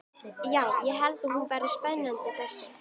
Já, ég held hún verði spennandi þessi.